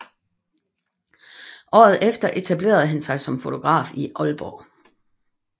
Året efter etablerede han sig som fotograf i Aalborg